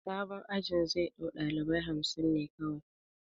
Sabon ajin zai ɗau ɗalibai hamsin ne kawai